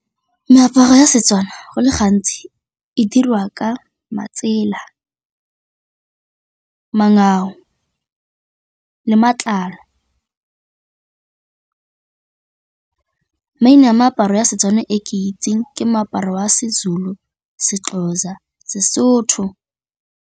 Meaparo ya Setswana go le gantsi e diriwa ka matsela le matlalo. Maina a meaparo ya setso one e ke itseng ke moaparo wa Sezulu, Sexhosa, Sesotho.